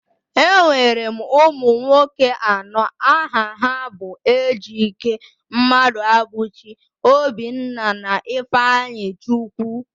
Enwere m ụmụ nwoke anọ, aha ha bụ Ejike, Mmaduabuchi, Obinna, na Ifeanyichukwu